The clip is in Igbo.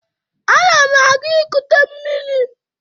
Ana m aga ikute mmiri.